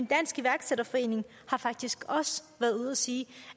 dansk iværksætterforening har faktisk også været ude at sige